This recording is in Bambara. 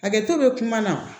Hakɛto bɛ kuma na